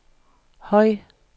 høj